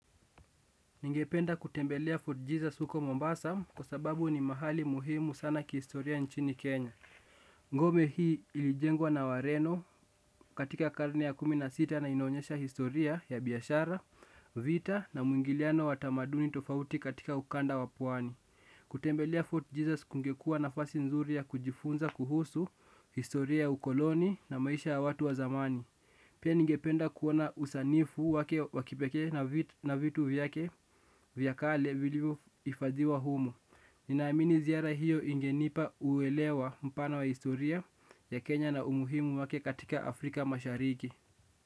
Ningependa kutembelea Fort Jesus huko Mombasa kwa sababu ni mahali muhimu sana kihistoria nchini Kenya. Ngome hii ilijengwa na wareno katika karne ya kumi na sita na inaonyesha historia ya biashara, vita na muingiliano wa tamaduni tofauti katika ukanda wa pwani. Kutembelea Fort Jesus kungekuwa nafasi nzuri ya kujifunza kuhusu historia ukoloni na maisha ya watu wa zamani. Pia ningependa kuona usanifu wake wa kipeke na vitu vyake vya kale vilivyohifadhiwa humo. Ninaamini ziara hiyo ingenipa uwelewa mpana wa historia ya Kenya na umuhimu wake katika Afrika mashariki.